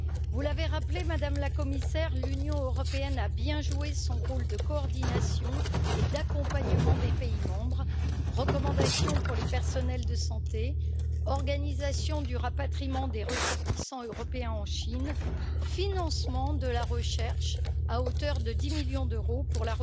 Vous l'avez rappelé, Madame la Commissaire, l'Union européenne a bien joué son rôle de coordination et d'accompagnement des pays membres recommandations pour les personnels de santé, organisation du rapatriement des ressortissants européens en Chine, financement de la recherche à hauteur de 10 millions d'euros pour